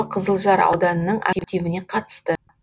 қызылжар ауданының активіне қатысты